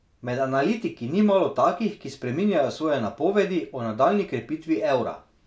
Med analitiki ni malo takih, ki spreminjajo svoje napovedi o nadaljnji krepitvi evra.